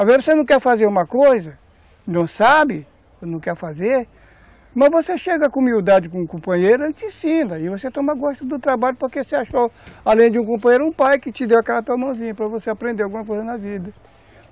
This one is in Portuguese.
Às vezes você não quer fazer uma coisa, não sabe, não quer fazer, mas você chega com humildade com o companheiro, ele te ensina, e você toma gosto do trabalho, porque você achou, além de um companheiro, um pai que te deu aquela tua mãozinha para você aprender alguma coisa na vida.